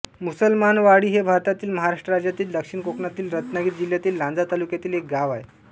मुसलमानवाडी हे भारतातील महाराष्ट्र राज्यातील दक्षिण कोकणातील रत्नागिरी जिल्ह्यातील लांजा तालुक्यातील एक गाव आहे